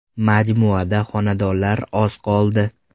Majmuada xonadonlar oz qoldi.